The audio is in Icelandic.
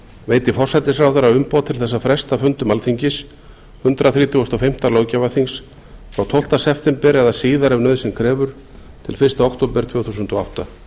veiti forsætisráðherra umboð til þess að fresta fundum alþingis hundrað þrítugasta og fimmta löggjafarþings frá tólfta september eða síðar ef nauðsyn krefur til fyrsta október tvö þúsund og átta